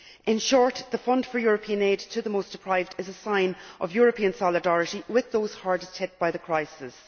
In short, the Fund for the European Aid to the Most Deprived is a sign of European solidarity with those hardest hit by the crisis.